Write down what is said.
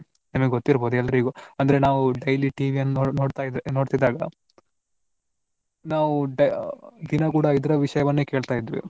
ನಿಮಗೆ ಗೊತ್ತಿರಬಹುದು ಎಲ್ಲರಿಗೂ ಅಂದ್ರೆ ನಾವು daily TV ಯನ್ನು ನೋಡ್~ ನೋಡ್ತಾ ಇದ್ದಾಗ ನಾವು ದಿನ ಕೂಡಾ ಇದ್ರ ವಿಷಯವನ್ನು ಕೇಳ್ತಾ ಇದ್ವಿ.